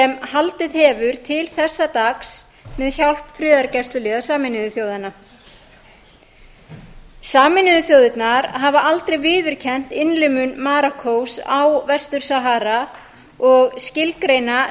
sem haldið hefur til þessa dags með hjálp friðargæsluliða sameinuðu þjóðanna sameinuðu þjóðirnar hafa aldrei viðurkennt innlimun marokkós á vestur sahara og skilgreina